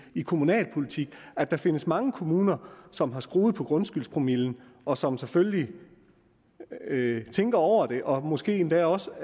kommunalpolitik at der findes mange kommuner som har skruet på grundskyldspromillen og som selvfølgelig tænker over det og måske endda også